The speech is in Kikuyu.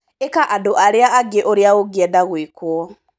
Ĩka andũ arĩa angĩ ũrĩa ũngĩenda gũikwo.